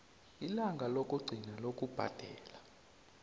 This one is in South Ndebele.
ilanga lokugcina lokubhadela